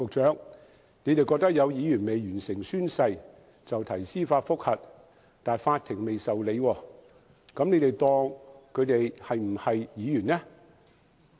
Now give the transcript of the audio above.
政府認為有議員未完成宣誓，提出司法覆核但法庭仍未受理，那政府是否視他們為議員？